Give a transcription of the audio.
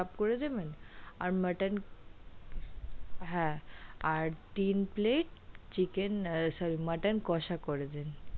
Chicken চাপ করে দেবেন আর মটন, হ্যাঁ আর তিন plate chicken sorry মটন কোষা করে দেবেন।